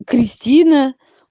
кристина